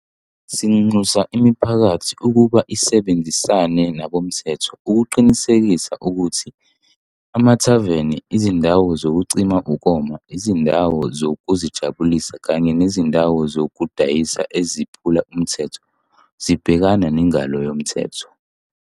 Sinxusa imiphakathi ukuba isebenzisane nabomthetho ukuqinisekisa ukuthi amathaveni, izindawo zokucima ukoma, izindawo zokuzijabulisa kanye nezindawo zokudayisa eziphula umthetho zibhekana nengalo yomthetho.